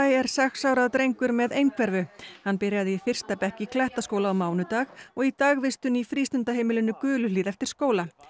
er sex ára drengur með einhverfu hann byrjaði í fyrsta bekk í Klettaskóla á mánudag og í dagvistun í frístundaheimilinu Guluhlíð eftir skóla